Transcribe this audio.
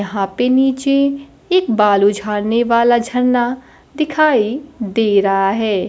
यहां पे नीचे एक बालू झाड़ने वाला झरना दिखाई दे रहा है।